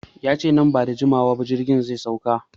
Yace nan bada jimawa ba jirgin zai sauka